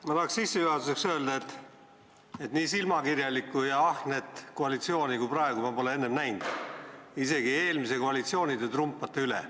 Ma tahan sissejuhatuseks öelda, et nii silmakirjalikku ja ahnet koalitsiooni kui praegune ei ole ma enne näinud, isegi eelmise koalitsiooni te trumpate üle.